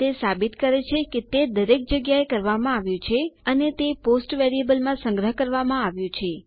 તે સાબિત કરે છે કે તે દરેક જગ્યા એ કરવામાં આવ્યું છે અને તે પોસ્ટ વેરીએબલમાં સંગ્રહ કરવામાં આવ્યું છે